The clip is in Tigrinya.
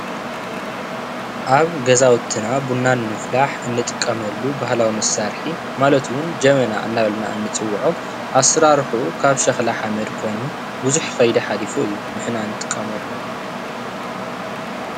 ኣብ ገዛዉትና ቡና ንምፍላሕ እንጥቀመሉ ባህላዊ መሳርሒ ማለት እዉን ጀበና እናበልና እንፅዉዖ ኣሰራርሕኡ ካብ ሸክላ ሓመድ ኮይኑ ብዙሕ ከይዲ ሓሊፉ እዩ። ንሕና ንጥቀመሉ?